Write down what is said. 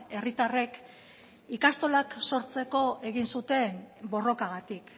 herritarrek ikastolak sortzeko egin zuten borrokagatik